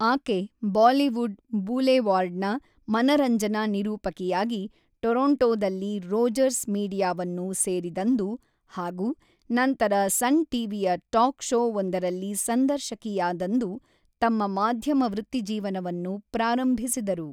ಆಕೆ ಬಾಲಿವುಡ್ ಬೂಲೆವಾರ್ಡ್‌ನ ಮನರಂಜನಾ ನಿರೂಪಕಿಯಾಗಿ ಟೊರೊಂಟೊದಲ್ಲಿ ರೋಜರ್ಸ್ ಮೀಡಿಯಾವನ್ನು ಸೇರಿದಂದು ಹಾಗೂ ನಂತರ ಸನ್ ಟಿವಿಯ ಟಾಕ್ ಷೋ ಒಂದರಲ್ಲಿ ಸಂದರ್ಶಕಿಯಾದಂದು ತಮ್ಮ ಮಾಧ್ಯಮ ವೃತ್ತಿಜೀವನವನ್ನು ಪ್ರಾರಂಭಿಸಿದರು.